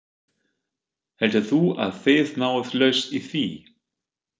Heldur þú að þið náið lausn í því?